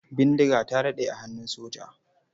Bindiga ta daɗe a hannun soja.